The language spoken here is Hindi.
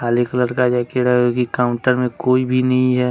ब्लैक कलर का जैकेट है और काउंटर में कोई भी नहीं है।